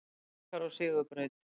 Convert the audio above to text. Haukar á sigurbraut